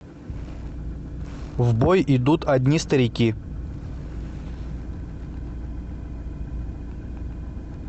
в бой идут одни старики